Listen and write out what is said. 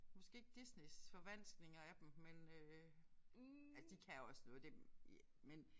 Måske ikke Disneys forvanskninger af dem men øh altså de kan også noget det er men